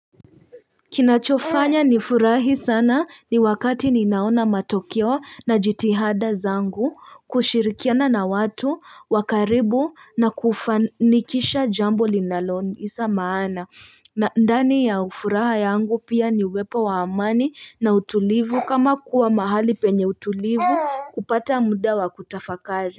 Kinachofanya nifurahi sana ni wakati ninaona matokeo na jitihada zangu kushirikiana na watu wa karibu na kufanikisha jambo linalonisa maana na ndani ya ufuraha yangu pia ni uwepa wa amani na utulivu kama kuwa mahali penye utulivu kupata muda wa kutafakari.